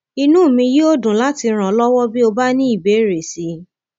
inú mi yóò dùn láti ràn ọ lọwọ bí o bá ní ìbéèrè sí i